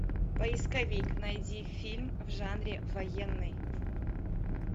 поисковик найди фильм в жанре военный